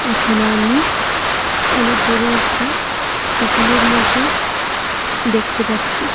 এখানে আমি অনেক বড় একটা পুতুলের মত দেখতে পাচ্ছি।